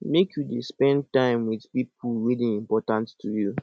make you dey spend time wit pipo wey dey important to you